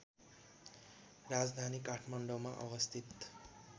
राजधानी काठमाडौँमा अवस्थित